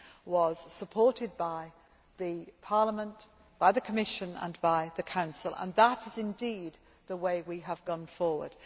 was supported by Parliament, by the Commission and by the Council, and that is indeed the way we have gone forward.